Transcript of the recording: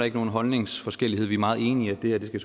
ikke nogen holdningsforskelle vi er meget enige i at det